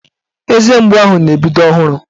Eze mgbu ahụ na-ebido ọhụrụ